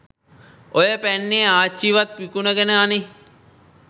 ඔය පැන්නේ ආච්චිවත් විකුණගෙන අනේ